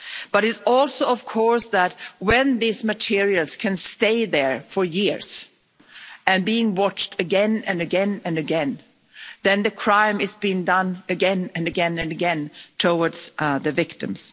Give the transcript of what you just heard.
It is also, of course, the case that, when these materials can stay there for years, being watched again and again and again, the crime is been done again and again and again towards the victims.